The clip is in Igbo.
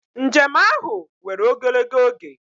Njem ahụ were ogologo oge.